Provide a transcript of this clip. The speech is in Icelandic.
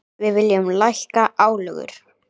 Við viljum lækka álögur.